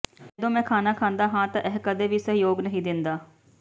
ਜਦੋਂ ਮੈਂ ਖਾਣਾ ਖਾਂਦਾ ਹਾਂ ਤਾਂ ਇਹ ਕਦੇ ਵੀ ਸਹਿਯੋਗ ਨਹੀਂ ਦਿੰਦਾ